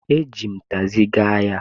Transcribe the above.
E ji m takzi gaa ahia